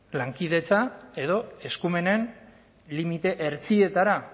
lankidetza edo eskumenen limite hertsietara